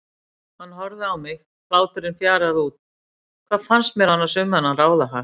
Hann horfði á mig, hláturinn fjaraði út, hvað fannst mér annars um þennan ráðahag?